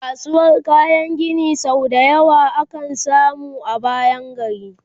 kasuwar kayan Gini sau da yawa ya kan zama a bayan gari